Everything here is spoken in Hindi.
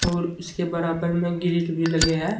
और उसके बराबर में ग्रिल भी लगे है।